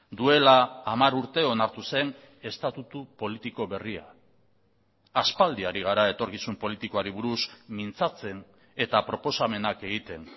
duela hamar urte onartu zen estatutu politiko berria aspaldi hari gara etorkizun politikoari buruz mintzatzen eta proposamenak egiten